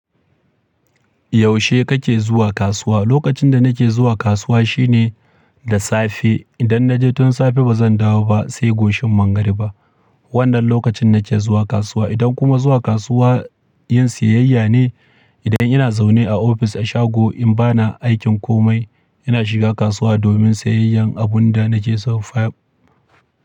Yaushe kake zuwa kasuwa? Lokacin da nake zuwa kasuwa shine da safe. Idan na je tun safe ba zan dawo ba sai goshin mangariba. Wannan lokacin nake zuwa kasuwa. Idan kuma zuwa kasuwa yin siyayya ne, idan ina zaune a ofis a shago in bani aikin komai, ina shiga kasuwa domin siyayyan abun da na ke son.